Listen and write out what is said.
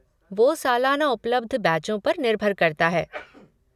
वो सालाना उपलब्ध बैचों पर निर्भर करता है।